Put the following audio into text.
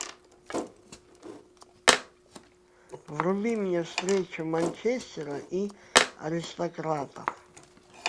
вруби мне встречу манчестера и аристократов